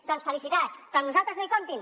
doncs felicitats però amb nosaltres no hi comptin